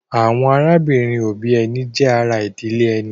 Àwọn arábìnrin-òbí ẹni jẹ́ ará ìdílé ẹni.